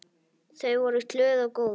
Þau voru glöð og góð.